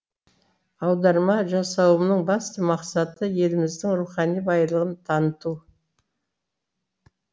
аударма жасауымның басты мақсаты еліміздің рухани байлығын таныту